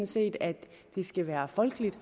set at det skal være folkeligt